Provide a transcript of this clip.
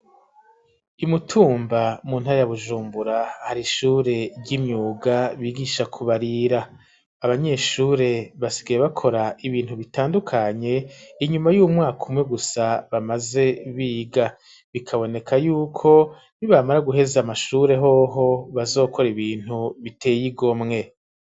imutumba mu ntaya bujumbura ,hari ishure ry'imyuga bigisha kubarira ,abanyeshure basigaye bakora ibintu bitandukanye ,inyuma y'umwaka umwe gusa bamaze biga bikaboneka yuko ni bamara guheza amashure hoho ,bazokora ibintu biteye igomwe.